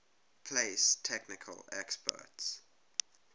place technical experts